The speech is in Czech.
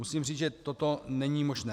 Musím říct, že toto není možné.